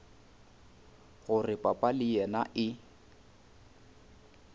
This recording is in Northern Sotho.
gore papa le yena e